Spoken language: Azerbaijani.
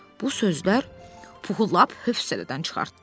Bu sözlər Puhun lap hövsələdən çıxartdı.